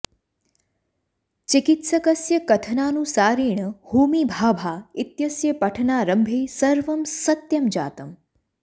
चिकित्सकस्य कथनानुसारेण होमी भाभा इत्यस्य पठनारम्भे सर्वं सत्यं जातम्